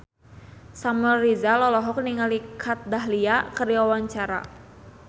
Samuel Rizal olohok ningali Kat Dahlia keur diwawancara